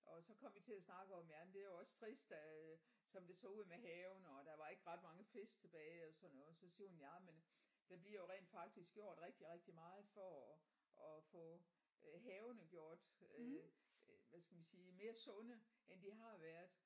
Og så kom vi til at snakke om jamen det er jo også trist øh som det så ud med havene og der var ikke ret mange fisk tilbage og sådan noget så siger hun ja men der bliver jo rent faktisk gjort rigtig rigtig meget for at at få øh havene gjort øh hvad skal man sige mere sunde end de har været